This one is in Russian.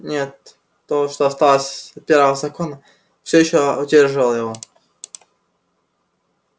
нет то что осталось от первого закона всё ещё удерживало его